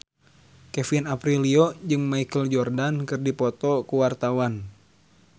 Kevin Aprilio jeung Michael Jordan keur dipoto ku wartawan